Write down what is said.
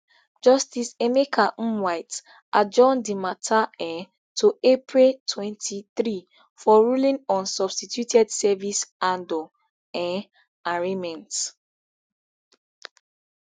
justice emeka nwite adjourn di mata um to april twenty-three for ruling on substituted service andor um arraignment